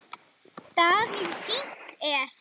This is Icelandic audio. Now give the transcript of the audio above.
Davíð Fínt er.